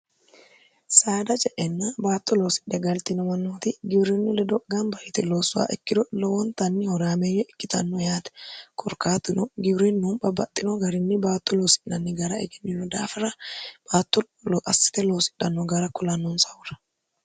saada je enna baatto loosidhe galtinoma nooti gibirinni ledo gaamba hiti loossowa ikkiro lowontanni horaameeyyo ikkitanno yaate korkaatino gibirinnuhu babbaxxino garinni baatto loosi'nanni gara egennino daafira baattoassite loosidhanno gara kulannoonsahura